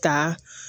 Ka